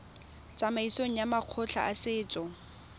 tsamaisong ya makgotla a setso